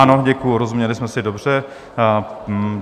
Ano, děkuji, rozuměli jsme si dobře.